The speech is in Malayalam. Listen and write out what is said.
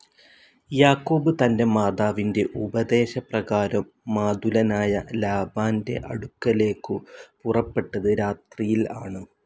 യാക്കോബ് തന്റെ മാതാവിന്റെ ഉപദേശപ്രകാരം മാതുലനായ ലാബാന്റെ അടുക്കലേക്കു പുറപ്പെട്ടത്‌ രാത്രിയിൽ ആണ്.